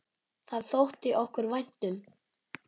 Það þótti okkur vænt um.